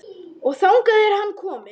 Og þangað er hann kominn.